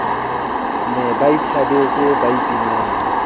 ne ba ithabetse ba ipinela